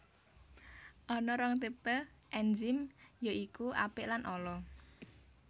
Ana rong tipe ènzim ya iku apik lan ala